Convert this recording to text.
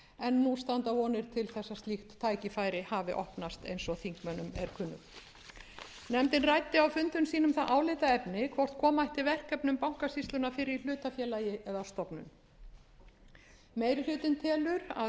en nú standa vonir til þess að slíkt tækifæri hafi opnast eins og þingmönnum er kunnugt nefndin ræddi á fundum sínum það álitaefni hvort koma ætti verkefnum bankasýslunnar fyrir í hlutafélagi eða stofnun meiri hlutinn telur að